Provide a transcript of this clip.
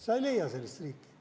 Sa ei leia sellist riiki.